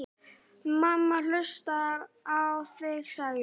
Mamma hlustar á þig, sagði